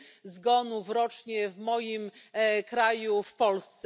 zgonów rocznie w moim kraju, w Polsce.